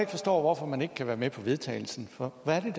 forstår hvorfor man ikke kan være med til vedtagelse for hvad er